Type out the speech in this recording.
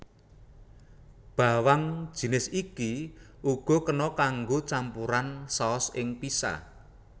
Bawang jisnis iki uga kena kanggo campuran saos ing pizza